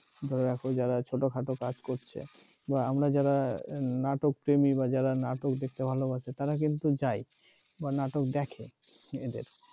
ধরে রাখো যারা ছোটখাটো কাজ করছে বা আমরা যারা নাটক প্রেমী বা যারা নাটক দেখতে ভালোবাসে তারা কিন্তু যায় বা নাটক দেখে এদের